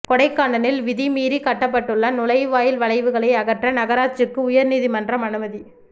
கொடைக்கானலில் விதிமீறி கட்டப்பட்டுள்ள நுழைவாயில் வளைவுகளை அகற்ற நகராட்சிக்கு உயா்நீதிமன்றம் அனுமதி